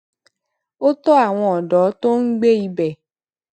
ó tọ àwọn ọdọ tó ń gbé ibẹ